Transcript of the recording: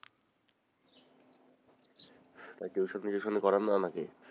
তাই টিউশন ই টুশোনি করান না নাকি?